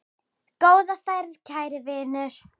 Góða ferð, kæri vinur.